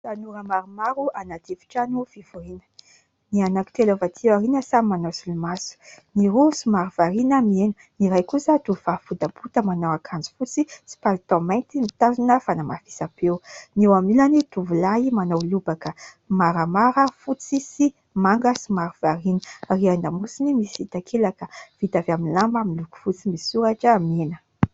Tanora maromaro anaty efitrano fivoriana. Ny anankitelo avy aty aoriana samy manao solomaso, ny roa somary variana mihaino, ny iray kosa tovovavy botabota manao akanjo fotsy sy palitao mainty mitazona fanamafisam-peo, ny eo anilany tovolahy manao lobaka maramara fotsy sy manga somary variana ary an-damosiny misy takelaka vita avy amin'ny lamba miloko fotsy misoratra mena.